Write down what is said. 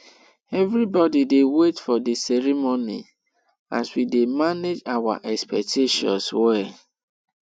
everybody dey wait for the ceremony as we dey manage our expectations well